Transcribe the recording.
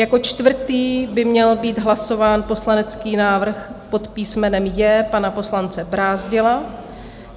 Jako čtvrtý by měl být hlasován poslanecký návrh pod písmenem J pana poslance Brázdila.